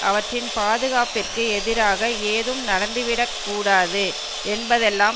அவற்றின் பாதுகாப்பிற்கு எதிராக ஏதும் நடந்துவிடக் கூடாது என்பதெல்லாம்